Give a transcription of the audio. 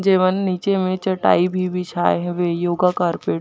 जेमन नीचे में चटाई भी बिछाए हवे योगा कारपेट --